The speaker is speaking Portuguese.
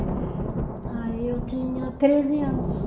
Aí eu tinha treze anos.